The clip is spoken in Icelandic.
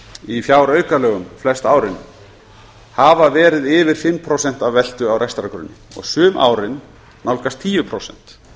í fjáraukalögum flest árin hafa verið yfir fimm prósent af veltu á rekstrargrunni og sum árin nálgast tíu prósent